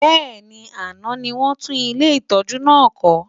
Bẹ́ẹ̀ni, àná ni wọ́n tún ilé ìtọ́jú náà kọ́.